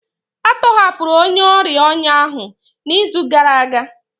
A tọhapụrụ onye ọrịa ọnya ahụ n'izu gara aga